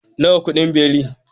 Nawa kudin beli?